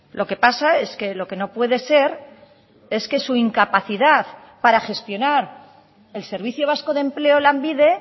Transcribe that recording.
lo que pasa es que lo que no puede ser es que su incapacidad para gestionar el servicio vasco de empleo lanbide